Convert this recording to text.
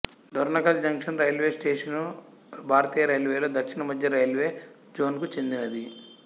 Dornakal junction railway station భారతీయ railway లో దక్షిణ మధ్య రైల్వే జోన్ కు చెందినది